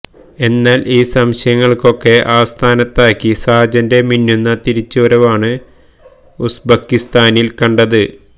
എ്ന്നാൽ ഈ സംശയങ്ങളെയൊക്കെ അസ്ഥാനത്താക്കി സാജന്റെ മിന്നുന്ന തിരിച്ചുവരവാണ് ഉസ്ബക്കിസ്ഥാനിൽ കണ്ടത്